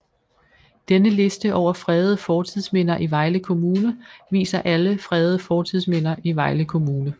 Denne liste over fredede fortidsminder i Vejle Kommune viser alle fredede fortidsminder i Vejle Kommune